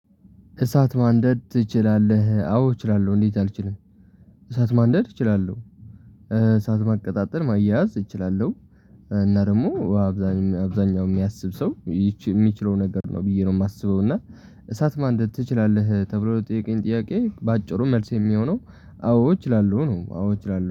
እሳት ማንደድ ትችላለህ አዎ እችላለሁ እንዴት አልችልም? እሳት ማንደድ እችላለሁ። እሳት ማቀጣጠል ማያያዝ እችላለሁ። እና ደግሞ አብዛኛው የሚያስብ ሰው የሚችለው ነገር ነው ብዬ ነው የማስበው። እና እሳት ማንደድ ትችላለህ? ተብሎ ለተጠየቀው ጥያቄ በአጭሩ መልስ የሚሆነው አዎ እችላለሁ ነው። አዎ እችላለሁ